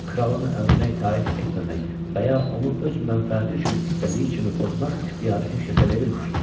Kralın əmrinə itaət etməmək və ya onu öz mənfəəti üçün istədiyi kimi pozmaq ixtiyarı heç kəsə verilmir.